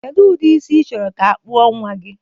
Kedu ụdị isi ichọrọ ka a kpụọ nnwa gị?